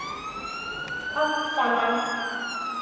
Allt saman.